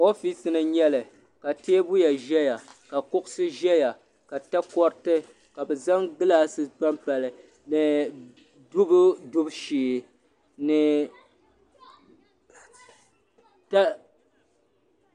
Ɔfiisi ni n nyɛli ka teebuya ʒɛya ka kuɣusi ʒɛya ka takɔriti ka bi zaŋ gilaasi pa n pa li ni dubu dubu shee.